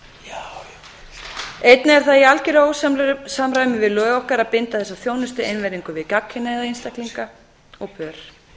barn einnig er það í algeru ósamræmi við lög okkar að binda þessa þjónustu einvörðungu við gagnkynhneigða einstaklinga og pör